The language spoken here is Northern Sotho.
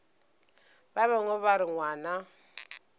ba bangwe ba re ngwana